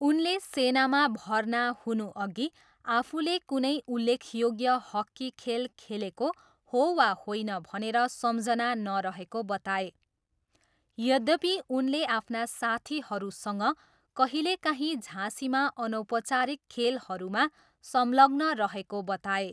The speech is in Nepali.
उनले सेनामा भर्ना हुनुअघि आफूले कुनै उल्लेखयोग्य हक्की खेल खेलेको हो वा होइन भनेर सम्झना नरहेको बताए, यद्यपि उनले आफ्ना साथीहरूसँग कहिलेकाहीँ झाँसीमा अनौपचारिक खेलहरूमा संलग्न रहेको बताए।